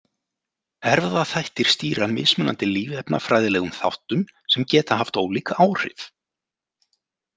Erfðaþættir stýra mismunandi lífefnafræðilegum þáttum sem geta haft ólík áhrif.